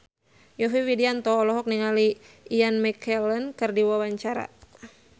Yovie Widianto olohok ningali Ian McKellen keur diwawancara